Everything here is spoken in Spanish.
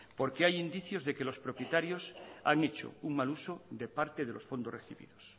porque hay indicios de que los propietarios han hecho un mal uso de parte de los fondos recibidos